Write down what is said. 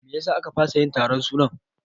Meyasa a ka fasa yin taron sunan?